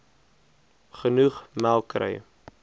genoeg melk kry